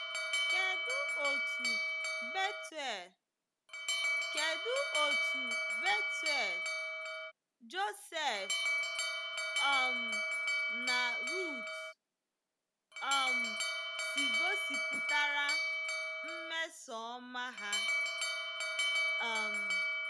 Kedụ otú Bethuel, Kedụ otú Bethuel, Joseph, um na Ruth um si gosipụtara mmesoọma ha um?